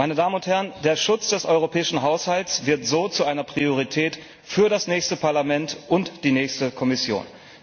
Meine Damen und Herren, der Schutz des europäischen Haushalts wird so zu einer Priorität für das nächste Parlament und die nächste Kommission.